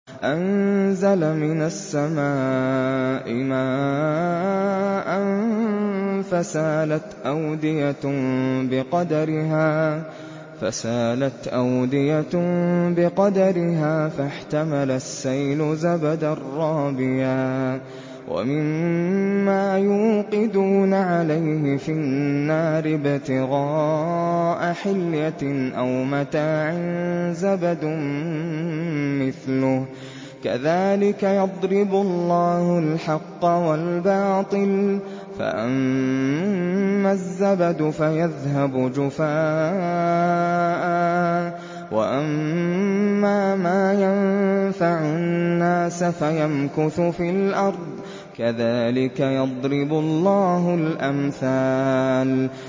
أَنزَلَ مِنَ السَّمَاءِ مَاءً فَسَالَتْ أَوْدِيَةٌ بِقَدَرِهَا فَاحْتَمَلَ السَّيْلُ زَبَدًا رَّابِيًا ۚ وَمِمَّا يُوقِدُونَ عَلَيْهِ فِي النَّارِ ابْتِغَاءَ حِلْيَةٍ أَوْ مَتَاعٍ زَبَدٌ مِّثْلُهُ ۚ كَذَٰلِكَ يَضْرِبُ اللَّهُ الْحَقَّ وَالْبَاطِلَ ۚ فَأَمَّا الزَّبَدُ فَيَذْهَبُ جُفَاءً ۖ وَأَمَّا مَا يَنفَعُ النَّاسَ فَيَمْكُثُ فِي الْأَرْضِ ۚ كَذَٰلِكَ يَضْرِبُ اللَّهُ الْأَمْثَالَ